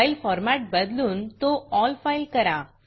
file format बदलून तो all file करा